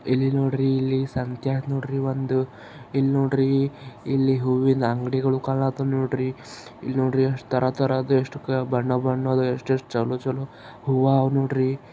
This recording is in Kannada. ಇಲ್ಲಿ ನೋಡ್ರಿ ಇಲ್ಲಿ ಸಂತೆ ಅದ್ ನೋಡ್ರಿ ಒಂದು. ಇಲ್ನೋಡ್ರಿ ಇಲ್ಲಿ ಹೂವಿನ ಅಂಗಡಿ ಕಾಣತಾವ್ ನೋಡ್ರಿ. ಇಲ್ನೋಡ್ರಿ ಅಷ್ಟ್ ಥರ ಥರದ್ ಎಷ್ಟು ಬಣ್ಣ ಬಣ್ಣದ್ ಎಷ್ಟ್ ಎಷ್ಟ್ ಚಲೋ ಚಲೋ ಹೂವ್ವ ಅವ್ ನೋಡ್ರಿ.